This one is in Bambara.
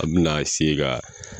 An bɛna ka